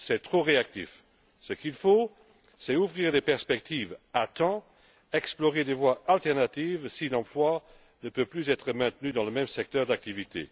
C'est trop réactif. Ce qu'il faut, c'est ouvrir les perspectives à temps, explorer des voies alternatives si l'emploi ne peut plus être maintenu dans le même secteur d'activités.